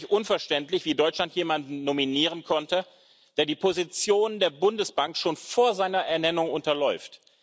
Es ist mir wirklich unverständlich, wie Deutschland jemanden nominieren konnte, der die Position der Bundesbank schon vor seiner Ernennung unterläuft.